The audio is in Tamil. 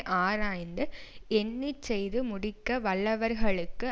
ஆராய்ந்து எண்ணி செய்து முடிக்க வல்லவர்களுக்கு